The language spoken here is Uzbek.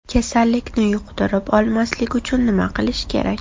Kasallikni yuqtirib olmaslik uchun nima qilish kerak?